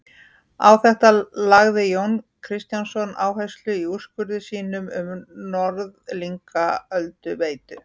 Á þetta lagði Jón Kristjánsson áherslu í úrskurði sínum um Norðlingaölduveitu.